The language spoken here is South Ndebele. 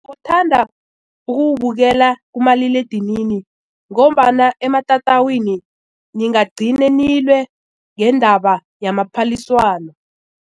Ngithanda ukuwubukela kumaliledinini ngombana ematatawini ningagcina nilwe ngendaba yamaphaliswano.